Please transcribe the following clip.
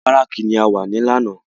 Inú bárákì ni a wà lánàá